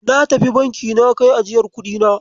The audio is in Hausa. Natafi Banki na kai ajiyar kuɗina.